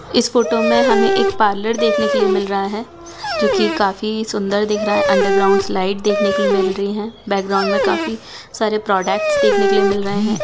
इस फोटो में हमें एक पार्लर देखने के लिए मिल रहा है जो कि काफी सुंदर दिख रहा है अंडरग्राउंड स्लाइड देखने को मिल रही है बैकग्राउंड में काफी सारे प्रोडक्टस देखने को मिल रहे है।